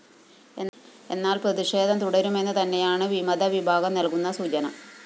എന്നാല്‍ പ്രതിഷേധം തുടരുമെന്ന്‌ തന്നെയാണ്‌ വിമതവിഭാഗം നല്‍കുന്ന സൂചന